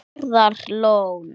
Stærðar lón.